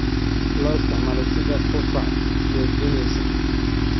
Loo isticmaalo sidii qufac joojinaysa.